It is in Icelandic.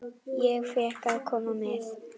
Ég fékk að koma með.